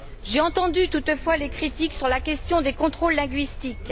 J'ai entendu, toutefois, les critiques sur la question des contrôles linguistiques.